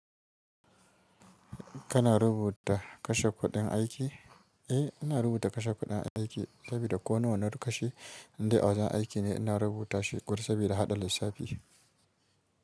Kana rubuta kashe kuɗin aiki? Eh, ina rubuta kashe kuɗin aiki sabida ko nawa na kashe. Indai a wajen aiki ne ina rubuta shi ƙo sabida haɗa lissafi.